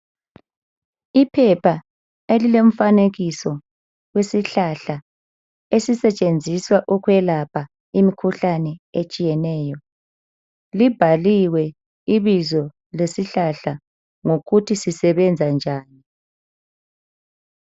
Iphepha elilemfanekiso, isihlahla esisetshenziswa ukwelapha imkhuhlane etshiyeneyo. Libhaliwe ibizo lesihlahla lokuthi sisebenza njani.